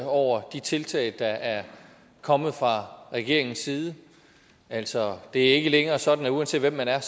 over de tiltag der er kommet fra regeringens side altså det er ikke længere sådan at uanset hvem man er